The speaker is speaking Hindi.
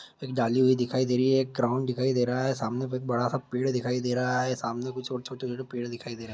एक डाली हुई दिखाई दे रही हैं एक क्राउन दिखाई दे रहा हैं सामने पे एक बड़ा सा पेड़ दिखाई दे रहा हैं सामने कुछ और छोटे छोटे पेड़ दिखाई दे रहा है।